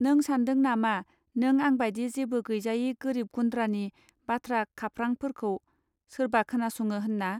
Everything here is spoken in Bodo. नों सान्दों नामा नों आंबादि जेबो गैजायै गोरोब गुन्द्रानि बाथ्रा खाफरांफोरखौ सोरबा खोनासङो होनना.